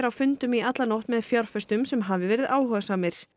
á fundum í alla nótt með fjárfestum sem hafi verið áhugasamir